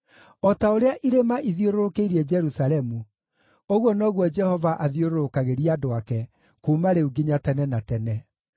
O ta ũrĩa irĩma ithiũrũrũkĩirie Jerusalemu ũguo noguo Jehova athiũrũrũkagĩria andũ ake, kuuma rĩu nginya tene na tene.